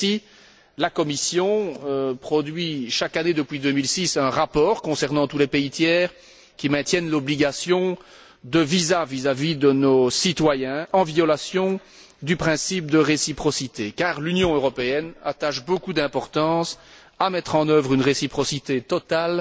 Ainsi, la Commission produit, chaque année depuis 2006, un rapport concernant tous les pays tiers qui maintiennent l'obligation de visa vis à vis de nos citoyens, en violation du principe de réciprocité, car l'Union européenne attache beaucoup d'importance à l'existence d'une réciprocité totale